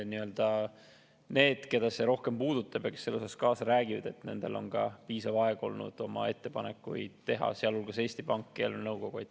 Nendel, keda see rohkem puudutab ja kes selles kaasa räägivad, on ka piisav aeg olnud oma ettepanekuid teha, sealhulgas Eesti Pangal ja eelarvenõukogul.